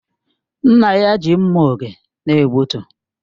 Nna ya ji mma oge na-egbutu